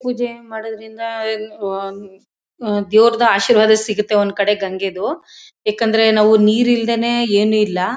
ಪೂಜೆ ಮಾಡೋದ್ರಿಂದ ಆ ದೇವರದು ಆಶೀರ್ವಾದ ಸಿಗುತ್ತೆ. ಒಂದು ಕಡೆ ಗಂಗೆದು ಏಕೆಂದರೆ ನಾವು ನೀರಿಲ್ಲದೇನೇ ಏನಿಲ್ಲ.